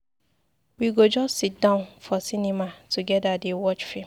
We go just siddon for cinema togeda dey watch film.